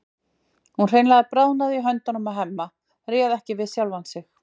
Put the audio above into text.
Hún hreinlega bráðnaði í höndunum á Hemma, réð ekki við sjálfa sig.